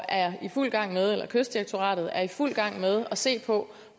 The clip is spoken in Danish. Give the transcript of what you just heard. er i fuld gang med eller at kystdirektoratet er i fuld gang med at se på